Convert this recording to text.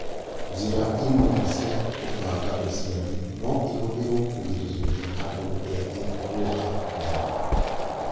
Njĩra imwe cia kũbangaũciari no ihũthĩrũo kũgirĩrĩria andũ ethĩ kũoha nda